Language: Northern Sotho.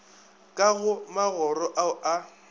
ka go magoro ao a